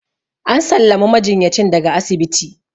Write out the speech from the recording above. an sallami majinyacin daga asibiti